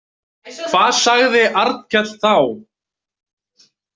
Hvað sagði Arnkell þá?